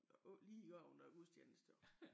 Bare ikke lige oven i gudstjeneste jo